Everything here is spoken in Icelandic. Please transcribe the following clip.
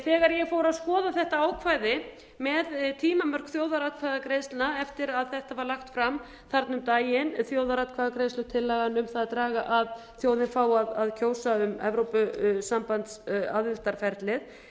þegar ég fór að skoða þetta ákvæði með tímamörk þjóðaratkvæðagreiðslna eftir að þetta var lagt fram þarna um daginn þjóðaratkvæðagreiðslutillagan um það að þjóðin fái að kjósa um evrópusambandsaðildarferlið fór ég